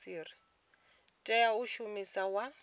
tea u ita mushumo wa